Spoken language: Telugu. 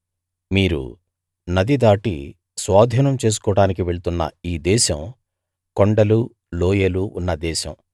మీరు నది దాటి స్వాధీనం చేసుకోడానికి వెళ్తున్న ఈ దేశం కొండలు లోయలు ఉన్న దేశం